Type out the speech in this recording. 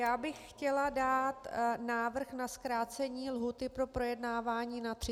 Já bych chtěla dát návrh na zkrácení lhůty pro projednávání na 30 dní.